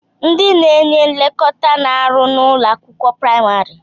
Ndị na-enye nlekọta na-arụ n'ụlọ akwụkwọ praimari.